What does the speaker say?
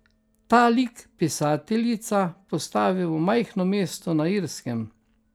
Ta lik pisateljica postavi v majhno mesto na Irskem.